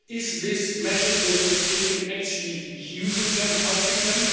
Are these measures that we have taken actually using them, helping them?